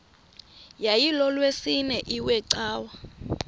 yayilolwesine iwe cawa